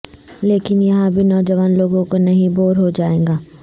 لیکن یہاں بھی نوجوان لوگوں کو نہیں بور ہو جائے گا